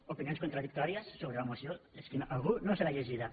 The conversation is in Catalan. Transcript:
opinions contradictòries sobre la moció és que algú no se l’ha llegida